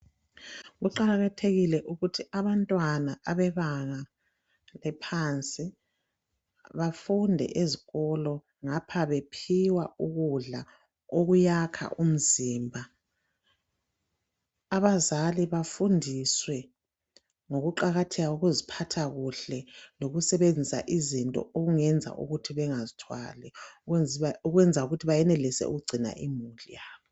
Kuqakathekile ukuthi abantwana bebanga eliphansi bafunde ezikolo ngapha bephiwa ukudla okuyakha umzimba abazali bafundiswe ngokuqakatheka kokuziphathakuhle lokusebenziswa kwezinto eziyenza ukuthi bagcine kuhle imuli yabo